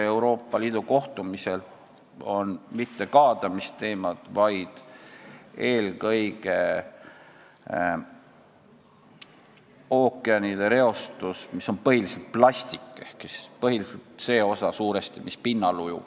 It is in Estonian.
Euroopa Liidu kohtumistel aga ei arutata mitte kaadamisteemasid, vaid eelkõige ookeanide reostust, mis on põhiliselt plastik ehk suuresti see osa, mis ujub pinnal.